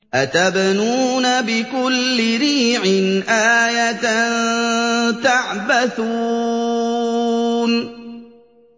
أَتَبْنُونَ بِكُلِّ رِيعٍ آيَةً تَعْبَثُونَ